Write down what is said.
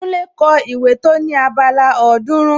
Kúnlé kọ ìwé tó ní abala ọ̀ọ́dúrún